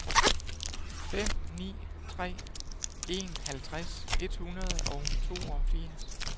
fem ni tre en halvtreds et hundrede og toogfirs